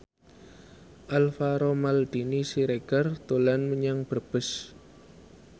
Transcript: Alvaro Maldini Siregar dolan menyang Brebes